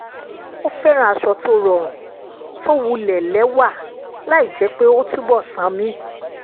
ó fẹ́ràn aṣọ tó rọrùn tó wulẹ̀ lẹwà láì jẹ́ pé ó túbọ̀ sànmí